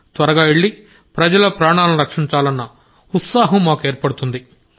త్వరగా వెళ్ళి ప్రజల ప్రాణాలను రక్షించాలన్న ఉత్సుకత మాకు ఏర్పడుతోంది